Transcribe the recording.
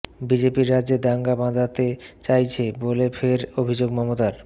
বিজেপির রাজ্যে দাঙ্গা বাধাতে চাইছে বলে ফের অভিযোগ মমতার